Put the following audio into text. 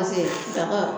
saga